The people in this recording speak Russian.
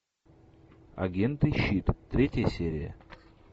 агенты щит третья серия